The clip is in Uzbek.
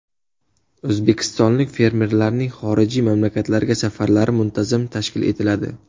O‘zbekistonlik fermerlarning xorijiy mamlakatlarga safarlari muntazam tashkil etiladi.